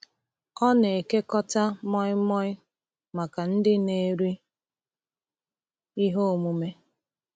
Ọ na-ekekọta moi moi maka ndị na-eri ihe omume.